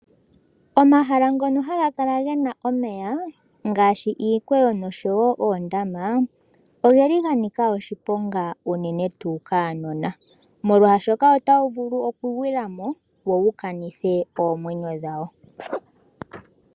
Omahala ngono haga kala gena omeya ngaashi iikweyo nenge oondama ogeli ga nika oshiponga uune tuu kuunona, molwaashoka otawu vulu oku gwila mo wo wu kanithe oomwenyo dhawo.